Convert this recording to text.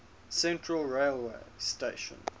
central railway station